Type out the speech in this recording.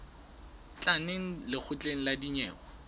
tla neng lekgotleng la dinyewe